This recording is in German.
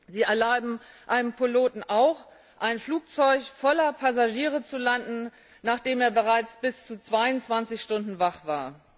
Sie erlauben einem Piloten auch, ein Flugzeug voller Passagiere zu landen, nachdem er bereits bis zu 22 Stunden wach war.